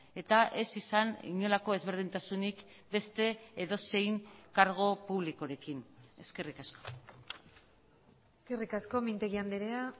eta ez izan inolako ezberdintasunik beste edozein kargu publikorekin eskerrik asko eskerrik asko mintegi andrea